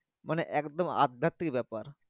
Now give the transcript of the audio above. ওখানে তোমার আদ্বাতি ব্যাপার।